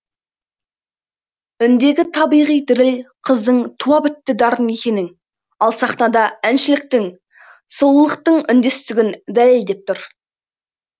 үндегі табиғи діріл қыздың туа бітті дарын екенін ал сахнада әншіліктің сұлулықтың үндестігін дәлелдеп тұр